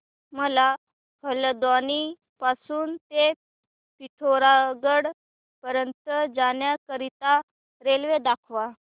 मला हलद्वानी पासून ते पिठोरागढ पर्यंत जाण्या करीता रेल्वे दाखवा